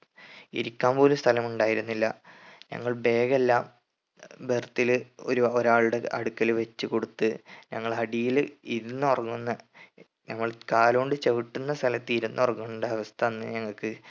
ഇരിക്കാൻ പോലും സ്ഥലം ഉണ്ടായിരുന്നില്ല ഞങ്ങൾ bag എല്ലാം birth ല് ഒരു ഒരാളുടെ അടുക്കൽ വെച്ച് കൊടുത്ത് ഞങ്ങൾ അടിയിൽ ഇരുന്നൊറങ്ങുന്ന ഞങ്ങൾ കാലോണ്ട് ചവിട്ടുന്ന സ്ഥലത്ത് ഇരുന്ന് ഉറങ്ങണ്ട അവസ്ഥ അന്ന് ഞങ്ങക്ക്